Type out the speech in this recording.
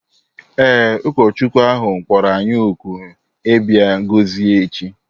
Ee, ụkọchukwu ahụ kpọrọ anyị òkù ịbịa gọzie echi